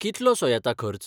कितलोसो येता खर्च?